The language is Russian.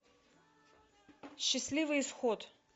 счастливый исход